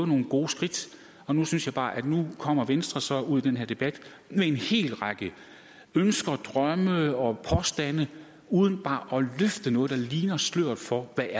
nogle gode skridt nu synes jeg bare at nu kommer venstre så ud i den her debat med en hel række ønsker drømme og påstande uden bare at løfte noget der ligner et slør for hvad